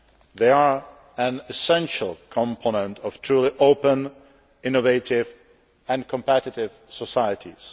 They are an essential component of truly open, innovative and competitive societies.